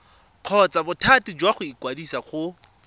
kgotsa bothati jwa ikwadiso go